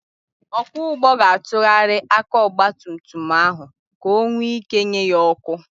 Ọkwọ ụgbọ ga-atụgharị aka ọgbatumtum ahụ ka onwe ị́ké nye ya ọ́kụ́.